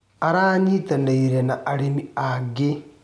Aranyitanĩire na arĩmi angĩ.